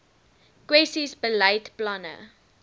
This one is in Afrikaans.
kwessies beleid planne